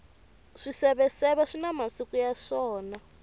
swiseveseve swina masiku ya swona